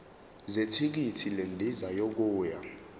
zethikithi lendiza yokuya